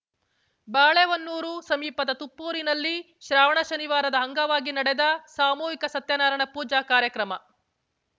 ಬಾಳೆಹೊನ್ನೂರು ಸಮೀಪದ ತುಪ್ಪೂರಿನಲ್ಲಿ ಶ್ರಾವಣ ಶನಿವಾರದ ಅಂಗವಾಗಿ ನಡೆದ ಸಾಮೂಹಿಕ ಸತ್ಯನಾರಾಯಣ ಪೂಜಾ ಕಾರ್ಯಕ್ರಮ